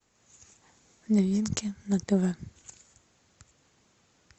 новинки на тв